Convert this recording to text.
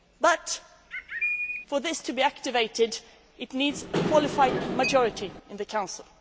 to return. But for this to be activated, it needs a qualified majority in the